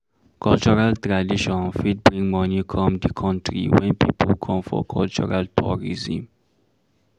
Cultural tradition fit bring money come di country when pipo come for cultural tourism